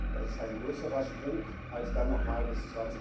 Das ist ein größerer Sprung als dann noch mal bis